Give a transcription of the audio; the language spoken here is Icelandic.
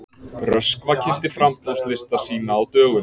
Röskva kynnti framboðslista sína á dögunum